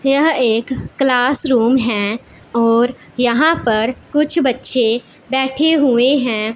यह एक class room हैं और यहां पर कुछ बच्चे बैठे हुएं हैं।